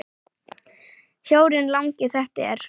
Sjórinn langi þetta er.